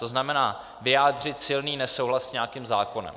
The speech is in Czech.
To znamená, vyjádřit silný nesouhlas s nějakým zákonem.